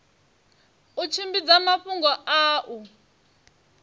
u tshimbidza mafhungo a u